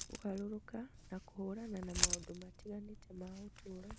kũgarũrũka na kũhũrana na maũndũ matiganĩte ma ũtũũro.